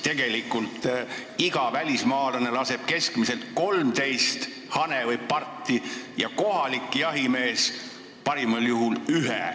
Tegelikult laseb iga välismaalane keskmiselt 13 hane või parti, kohalik jahimees parimal juhul ühe.